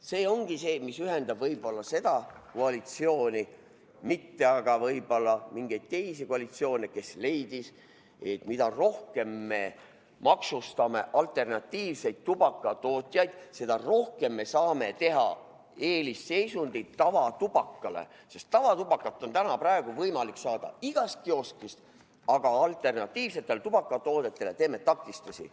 See ongi see, mis ühendab võib-olla seda koalitsiooni, mitte aga võib-olla mingeid teisi koalitsioone, kes leidis, et mida rohkem me maksustame alternatiivseid tubakatootjaid, seda rohkem me saame teha eelisseisundit tavatubakale, sest tavatubakat on praegu võimalik saada igast kioskist, aga alternatiivsetele tubakatoodetele teeme takistusi.